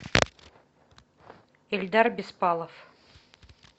эльдар беспалов